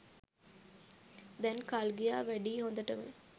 දැන් කල් ගියා වැඩියි හොඳටම.